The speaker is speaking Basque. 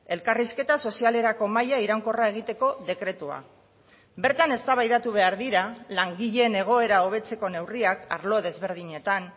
elkarrizketa sozialerako mahaia iraunkorra egiteko dekretua bertan eztabaidatu behar dira langileen egoera hobetzeko neurriak arlo desberdinetan